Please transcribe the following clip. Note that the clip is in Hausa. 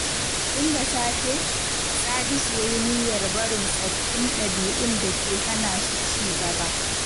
Tun da safe, Sadisu ya yi niyyar barin tsoffin dabi’un da ke hana shi ci gaba.